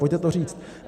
Pojďte to říct.